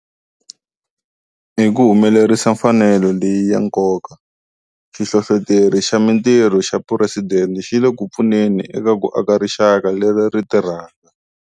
Hi ku humelerisa mfanelo leyi ya nkoka, Xihlohloteri xa Mitirho xa Phuresidente xi le ku pfuneni eka ku aka rixaka leri ri tirhaka.